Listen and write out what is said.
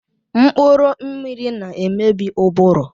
Mkpụrụ mmiri na-emebi ụbụrụ